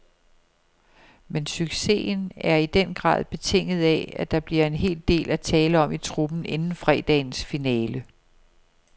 Men succesen er i den grad betinget af, at der bliver en hel del at tale om i truppen inden fredagens finale.